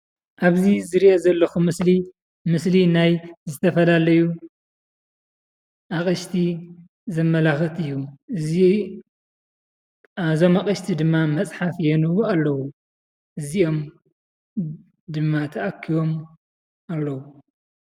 ኣብዚ ዝሪኦ ዘለኹ ምስሊ ምስሊ ናይ ዝተፈላለዩ ኣቕሽቲ ዘመላኽት እዩ፡፡ እዚ እዞም ኣቕሽቲ ድማ መፅሓፍ የንብቡ ኣለዉ፡፡ እዚኦም ድማ ተኣኪቦም ኣለዉ፡፡